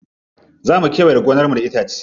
Za mu kewaye gonar da itace.